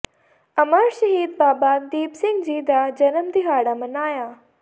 ਅਮਰ ਸ਼ਹੀਦ ਬਾਬਾ ਦੀਪ ਸਿੰਘ ਜੀ ਦਾ ਜਨਮ ਦਿਹਾੜਾ ਮਨਾਇਆ